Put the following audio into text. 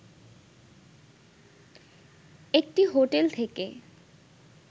একটি হোটেল থেকে